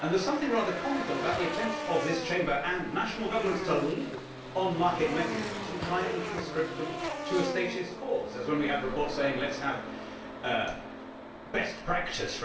There is something rather comical about the attempts of this Chamber and of national governments to leap on market mechanisms and try to conscript them to a statist cause, such as when we have reports saying let us have best practice'.